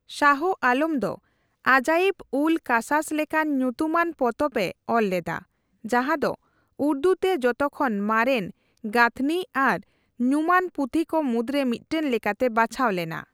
ᱥᱟᱦᱚ ᱟᱞᱚᱢ ᱫᱚ ᱟᱡᱟᱭᱤᱵᱼᱩᱞᱼᱠᱟᱥᱟᱥ ᱞᱮᱠᱟᱱ ᱧᱩᱛᱩᱢᱟᱱ ᱯᱚᱛᱚᱵ ᱮ ᱚᱞᱞᱮᱫᱟ ᱡᱟᱦᱟᱸ ᱫᱚ ᱩᱨᱫᱩ ᱛᱮ ᱡᱚᱛᱚ ᱠᱷᱚᱱ ᱢᱟᱨᱮᱱ ᱜᱟᱹᱛᱷᱱᱤ ᱟᱨ ᱧᱩᱢᱟᱱ ᱯᱩᱛᱷᱤ ᱠᱚ ᱢᱩᱫᱨᱮ ᱢᱤᱫᱴᱟᱝ ᱞᱮᱠᱟᱛᱮ ᱵᱟᱪᱷᱟᱣ ᱞᱮᱱᱟ ᱾